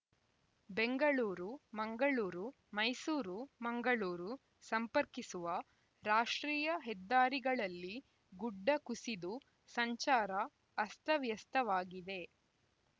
ಬೆಂಗಳೂರುಮಂಗಳೂರು ಮೈಸೂರುಮಂಗಳೂರು ಸಂಪರ್ಕಿಸುವ ರಾಷ್ಟ್ರೀಯ ಹೆದ್ದಾರಿಗಳಲ್ಲಿ ಗುಡ್ಡ ಕುಸಿದು ಸಂಚಾರ ಅಸ್ತವ್ಯಸ್ತವಾಗಿದೆ